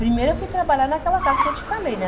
Primeiro eu fui trabalhar naquela casa que eu te falei, né?